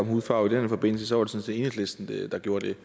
om hudfarve i den her forbindelse sådan set enhedslisten der gjorde det